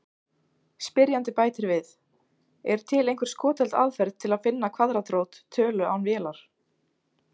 Spyrjandi bætir við: Er til einhver skotheld aðferð til að finna kvaðratrót tölu án vélar?